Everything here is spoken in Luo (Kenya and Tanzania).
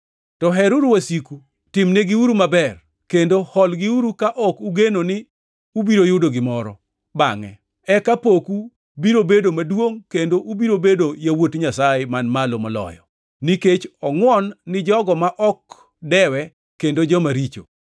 To heruru wasiku, timnegiuru maber, kendo holgiuru ka ok ugeno ni ubiro yudo gimoro bangʼe. Eka poku biro bedo maduongʼ kendo ubiro bedo yawuot Nyasaye Man Malo Moloyo, nikech ongʼwon gi jogo ma ok dewe kendo jomaricho.